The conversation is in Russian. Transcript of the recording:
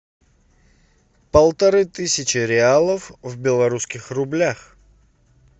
полторы тысячи реалов в белорусских рублях